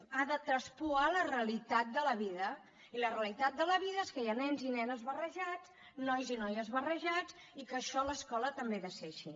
ha de traspuar la realitat de la vida i la realitat de la vida és que hi ha nens i nenes barrejats nois i noies barrejats i que això a l’escola també ha de ser així